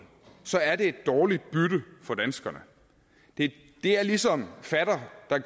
så er det et dårligt bytte for danskerne det er ligesom fatter der